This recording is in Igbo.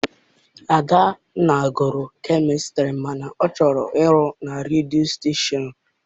Adanna gụrụ kemịstri mana ọ chọrọ ịrụ na redio stashon.